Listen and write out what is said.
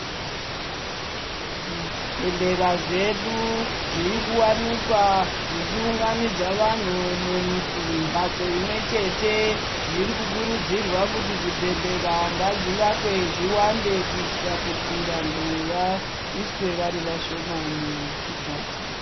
Zvibhedhlera zvedu zviri kuwanikwa zvichiunganidza vanthu mumbatso imwe chete zviri kukurudzirwa kuti zvibhedhlera ngazvivakwe zviwande kuitira kuti vanthu vaiswe vari vashoma muchimbatso.